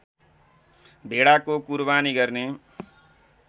भेडाको कुरबानी गर्ने